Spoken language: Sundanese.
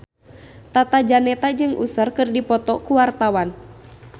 Tata Janeta jeung Usher keur dipoto ku wartawan